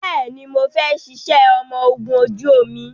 Bẹẹni, mo fẹ́ ṣiṣẹ́ ọmọ ogún ojú omi